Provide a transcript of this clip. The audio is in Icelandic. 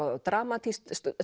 dramatískt